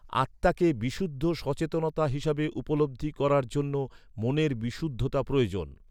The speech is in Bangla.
আত্মাকে বিশুদ্ধ সচেতনতা হিসাবে উপলব্ধি করার জন্য, মনের বিশুদ্ধতা প্রয়োজন।